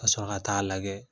Ka sɔrɔ ka ta'a lajɛ